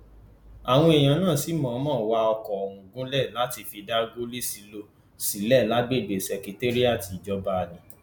àwọn èèyàn náà sì mọọnmọ wá àwọn ọkọ ọhún gúnlẹ láti fi dá gòlíṣílọọ sílẹ lágbègbè ṣekéírátì ìjọba ni